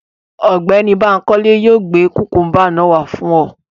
Ọgbẹni Bankole yóò gbe kukumba naa wa fun ọ